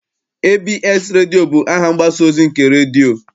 ABS redio bụ aha ụlọ mgbasa ozi nke redio.